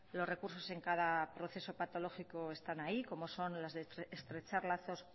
los recursos en cada proceso patológico están ahí como son las de estrechar lazos